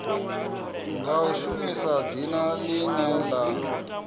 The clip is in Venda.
nga shumisa dzina ḽine ḽa